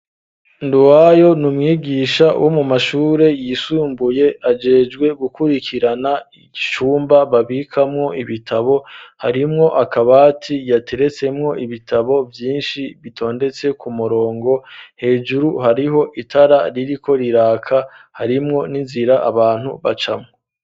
Nduwayo numwigisha wo mu mashure yisumbuye ajejwe gukurikirana icumba babikamwo ibitabo harimwo akabati yateretsemwo ibitabo vyinshi bitondetse ku murongo hejuru hariho itara ririko riraka harimwo n'inzira abantu bacamwo.